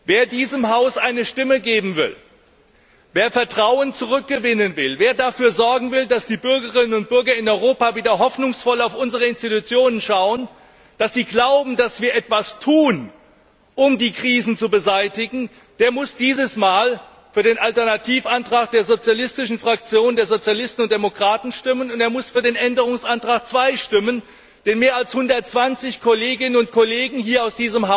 Wer diesem Haus eine Stimme geben will, wer Vertrauen zurückgewinnen will, wer dafür sorgen will, dass die Bürgerinnen und Bürger in Europa wieder hoffnungsvoll auf unsere Institutionen schauen, dass sie glauben, dass wir etwas tun, um die Krisen zu beseitigen, der muss dieses Mal für den Alternativantrag der Fraktion der Sozialisten und Demokraten stimmen, und er muss für den Änderungsantrag 2 stimmen, den mehr als 120 Kolleginnen und Kollegen